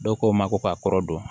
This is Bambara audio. Dɔw ko n ma ko ka kɔrɔ dɔn